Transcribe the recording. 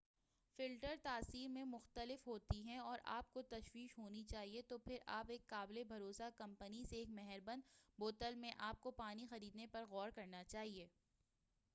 filters تاثیر میں مختلف ہوتی ہیں اور آپ کو تشویش ہونی چاہئے تو پھر آپ ایک قابل بھروسہ کمپنی سے ایک مہر بند بوتل میں آپ کو پانی خریدنے پر غور کرنا چاہئے